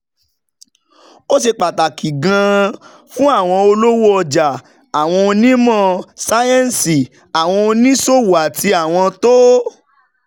Ó ṣe pàtàkì gan-an fún àwọn olówó ọjà, àwọn onímọ̀ sáyẹ́ǹsì, àwọn oníṣòwò àti àwọn tó